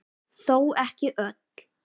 Þó ekki öll.